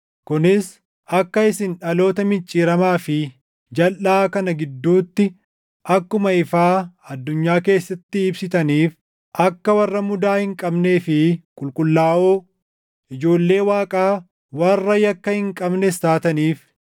kunis akka isin dhaloota micciiramaa fi jalʼaa kana gidduutti akkuma ifaa addunyaa keessatti ibsitaniif, akka warra mudaa hin qabnee fi qulqullaaʼoo, ijoollee Waaqaa warra yakka hin qabnes taataniif,